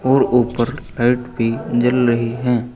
और ऊपर लाइट भी जल रही हैं।